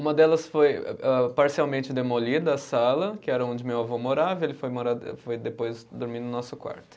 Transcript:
Uma delas foi âh, parcialmente demolida, a sala, que era onde meu avô morava, ele foi mora, foi depois dormir no nosso quarto.